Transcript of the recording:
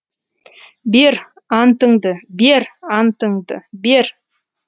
бер антыңды бер антыңды бер